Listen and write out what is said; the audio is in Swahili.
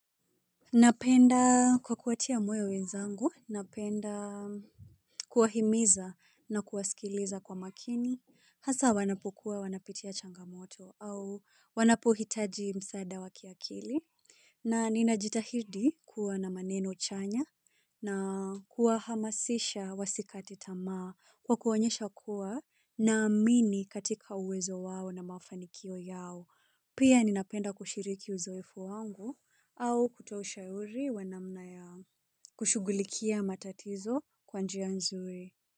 Napenda kwa kuwatia moyo wenzangu, napenda kuwahimiza na kuwasikiliza kwa makini. Hasa wanapokuwa wanapitia changamoto au wanapohitaji msaada wa kiakili. Na ninajitahidi kuwa na maneno chanya na kuwahamasisha wasikate tamaa kwa kuonyesha kuwa naamini katika uwezo wao na mafanikio yao. Pia ninapenda kushiriki uzoefu wangu au kutoshauriwa namna ya kushugulikia matatizo kwa njia nzuri.